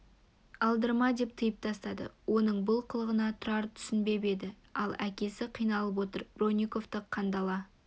алдырма деп тыйып тастады оның бұл қылығына тұрар түсінбеп еді ал әкесі қиналып отыр бронниковты қандала